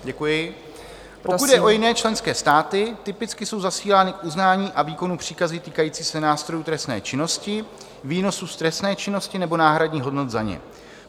Pokud jde o jiné členské státy, typicky jsou zasílány k uznání a výkonu příkazy týkající se nástrojů trestné činnosti, výnosů z trestné činnosti nebo náhradních hodnot za ně.